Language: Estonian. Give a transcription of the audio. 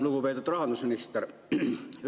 Lugupeetud rahandusminister!